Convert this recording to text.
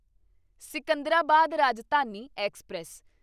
Secunderabad Rajdhani express